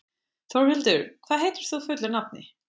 Þórhildur, hvað heitir þú fullu nafni?